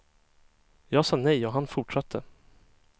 Jag sa nej och han fortsatte.